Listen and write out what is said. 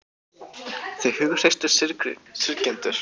Þau hughreystu syrgjendur